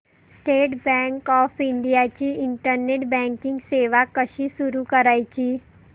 state Bank of India ची internet banking सेवा कशी सुरू करायची